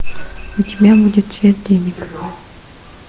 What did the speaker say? у тебя будет цвет денег